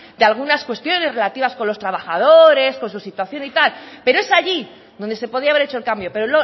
de algunas cuestiones relativas con los trabajadores con su situación y tal pero es allí donde se podía haber hecho el cambio pero